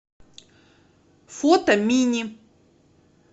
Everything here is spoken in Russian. фото мини